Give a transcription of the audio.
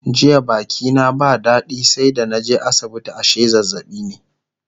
jiya Baki na ba dadi sai da naje asibiti ashe zazzaɓi ne